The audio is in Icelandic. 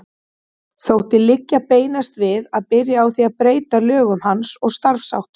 Þótti liggja beinast við að byrja á því að breyta lögum hans og starfsháttum.